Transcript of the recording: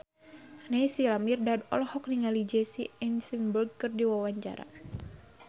Naysila Mirdad olohok ningali Jesse Eisenberg keur diwawancara